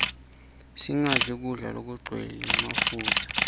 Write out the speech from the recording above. singadli kudla lokugcwele mafutsa